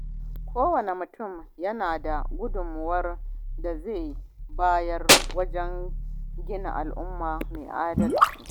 Kowane mutum yana da gudunmawar da zai bayar wajen gina al’umma mai adalci.